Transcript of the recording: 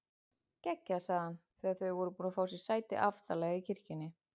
Geggjað sagði hann þegar þau voru búin að fá sér sæti aftarlega í kirkjunni.